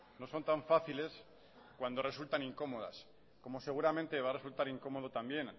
no son tan fáciles cuando resultan incómodas como seguramente va a resultar incómodo también